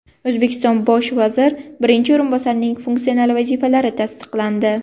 O‘zbekiston bosh vazir birinchi o‘rinbosarining funksional vazifalari tasdiqlandi.